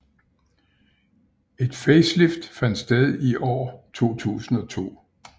Et facelift fandt sted i år 2002